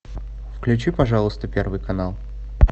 включи пожалуйста первый канал